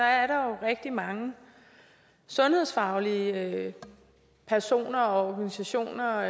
er der jo rigtig mange sundhedsfaglige personer og organisationer